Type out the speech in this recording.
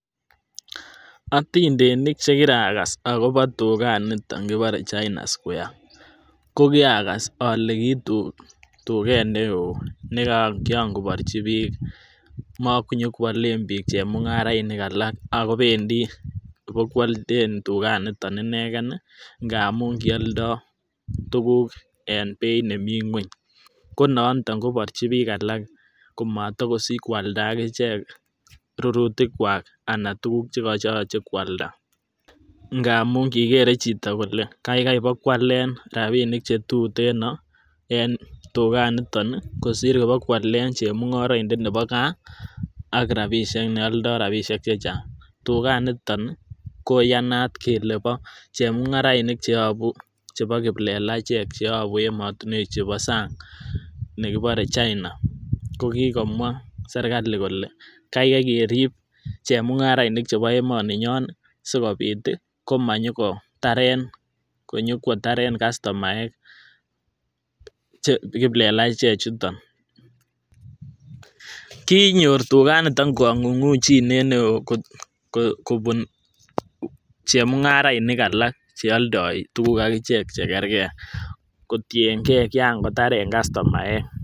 Otindenik chekirakas akobo tukan niton kibore chaina square ko kiagas ole ki tuket neo nekian koborgi bik monyokwolen bik chemungaraini alak ako bendii bik ibo kwole tukan niton inegen nii ngamun kioldo tukuk en beit nemii ngueny, ko nondon ko kiborgi bik alak komoto kosich koalda ak ichek rurutik kwak anan tukuk chekoyoche kwalda ngamun kikere chito kole kaikai ibakwalen rabinik chetuteno en tukan niton kosir ibakwalen chemungoroindet nebo gaa ak rabishek neoldo rabishek che chang. Tukan niton koyanat kele bo chemungaraini cheyobu chebo kiplelachek cheyobu emotinwek chebo sany nekibore Chaina ko kikomwa serikali kole kaikai kerib chemungarainik chebo emoninyon nii sikobiti komanyo kotaren kastomaek che kiplelachek chuton. Kinyor tukan niton kongungunjinet neo kobun chemungarainik alak che oldo tukuk ak ichek chekerker kotiyen gee kian kotaren kastomaek